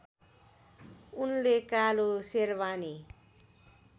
उनले कालो सेरबानी